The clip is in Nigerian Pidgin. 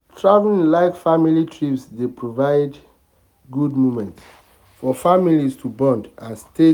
um traveling like family trips dey provide good moments um for family to bond and stay together.